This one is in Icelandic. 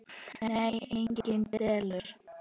Nei, engar deilur.